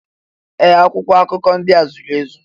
Ee! Akwụkwọ akụkọ ndị a zuru ezu.